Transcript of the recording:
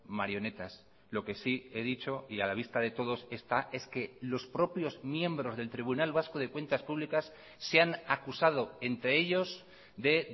marionetas lo que sí he dicho y a la vista de todos está es que los propios miembros del tribunal vasco de cuentas públicas se han acusado entre ellos de